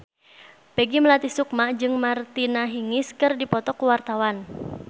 Peggy Melati Sukma jeung Martina Hingis keur dipoto ku wartawan